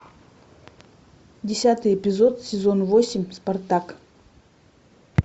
десятый эпизод сезон восемь спартак